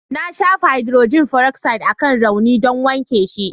Na shafa haidrojin feroksaid akan raunin don wanke shi.